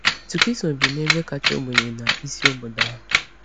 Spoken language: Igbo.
Tukiso bi n’ebe kacha ogbenye na isi obodo ahụ.